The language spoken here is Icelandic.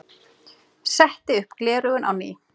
Setti upp gleraugun á ný.